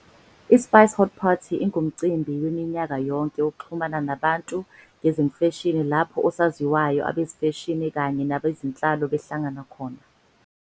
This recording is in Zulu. ISpice Haute Party ingumcimbi waminyaka yonke wokuxhumana nabantu ngezemfashini lapho osaziwayo, abezemfashini kanye nabezenhlalo behlangana khona.